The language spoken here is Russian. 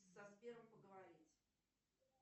со сбером поговорить